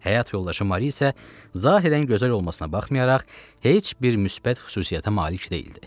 Həyat yoldaşı Mari isə zahirən gözəl olmasına baxmayaraq heç bir müsbət xüsusiyyətə malik deyildi.